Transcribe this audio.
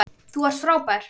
Þú ert frábær.